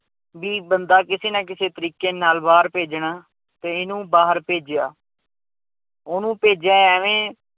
ਵੀ ਬੰਦਾ ਕਿਸੇ ਨਾ ਕਿਸੇ ਤਰੀਕੇ ਨਾਲ ਬਾਹਰ ਭੇਜਣਾ ਤੇ ਇਹਨੂੰ ਬਾਹਰ ਭੇਜਿਆ ਉਹਨੂੰ ਭੇਜਿਆ ਇਵੇਂ